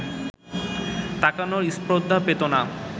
তাকানোর স্পর্ধা পেত না